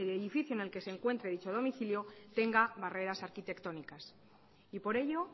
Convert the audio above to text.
el edificio en el que se encuentre dicho domicilio tenga barreras arquitectónicas y por ello